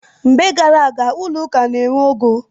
Mgbe gar aga, ụlọ ụka na-enwe ogo.